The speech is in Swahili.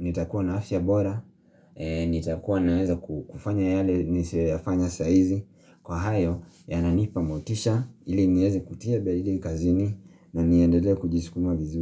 nitakuwa na afya bora, nitakuwa naweza kufanya yale nisiyoyafanya saizi. Kwa hayo, yananipa motisha, ili nieze kutia beli kazini na niendelee kujisikuma vizuri.